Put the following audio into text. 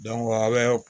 aw bɛ